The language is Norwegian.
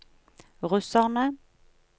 russerne